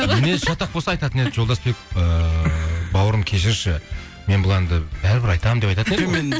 мінезі шатақ болса айтатын еді жолдасбек ыыы бауырым кешірші мен бұл әнді бәрі бір айтамын